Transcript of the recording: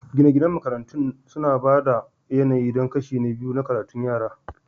Gine-ginen makarantun suna ba da yanayi don kashi na biyu na karatun yara